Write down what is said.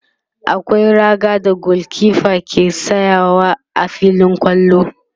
akwai raga da gulkefa ke tsayawa a filin kwallo